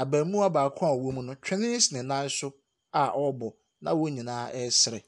Abarimaa baako a ɔwɔ mu no, twene si ne nan so a ɔrebɔ, na wɔn nyinaa resere.